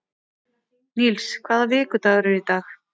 Níls, hvaða vikudagur er í dag?